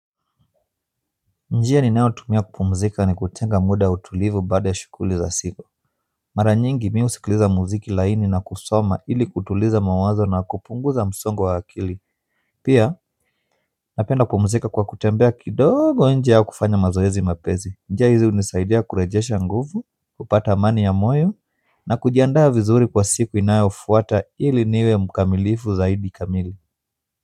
Njia ninao tumia kupumzika ni kutenga muda wa utulivu baada ya shughuli za siku mara nyingi mi husikiliza muziki laini na kusoma ili kutuliza mawazo na kupunguza msongo wa akili pia napenda kupumzika kwa kutembea kidogo nje au kufanya mazoezi mapesi njia hizi hunisaidia kurejesha nguvu, hupata amani ya moyo na kujiandaa vizuri kwa siku inayofuata ili niwe mkamilifu zaidi kamili.